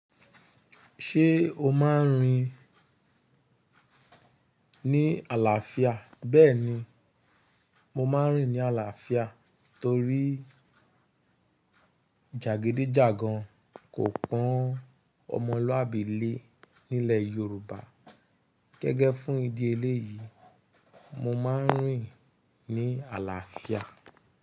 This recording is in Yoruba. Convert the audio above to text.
Ṣé o máa ń rìn ní àlàáfíà? Bẹ́ẹ̀ni, mo máa ń rìn ní àlàáfíà torí jàgídíjàgan kò pọn ọmọlúàbí lé nílẹ̀ Yorùbá. Gẹ́gẹ́ fún ìdí eléyìí, mo máa ń rìn ní àlàáfíà.